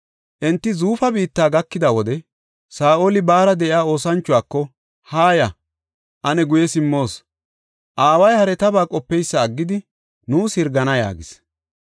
Enti Zuufa biitta gakida wode Saa7oli baara de7iya oosanchuwako, “Haaya; ane guye simmoos; aaway haretaba qopeysa aggidi, nuus hirgana” yaagis.